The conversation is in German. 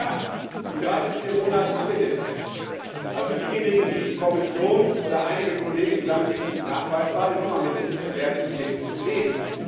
Ja, in drei bis vier Monaten haben wir den Test. Also diejenigen, die Kommission oder einige Kollegen, die sagen, es ist nicht nachweisbar, die sollen mal mit den Experten wirklich reden.